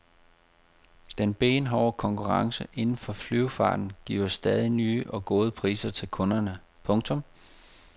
Den benhårde konkurrence inden for luftfarten giver stadig nye og gode priser til kunderne. punktum